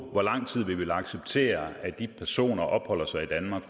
hvor lang tid vi vil acceptere at de personer fortsat opholder sig i danmark